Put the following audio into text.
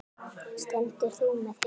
Stendur þú með því?